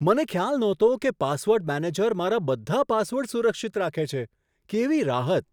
મને ખ્યાલ નહોતો કે પાસવર્ડ મેનેજર મારા બધા પાસવર્ડ સુરક્ષિત રાખે છે. કેવી રાહત!